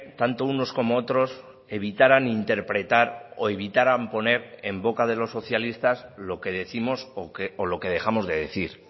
tanto unos como otros evitaran interpretar o evitaran poner en boca de los socialistas lo que décimos o lo que dejamos de decir